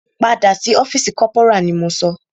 Padà sí ọ́fìsì corporal ni mo sọ!